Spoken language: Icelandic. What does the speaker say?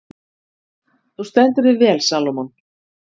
Þú stendur þig vel, Salómon!